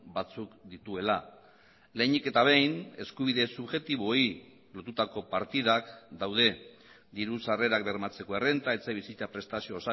batzuk dituela lehenik eta behin eskubide subjektiboei lotutako partidak daude diru sarrerak bermatzeko errenta etxebizitza prestazio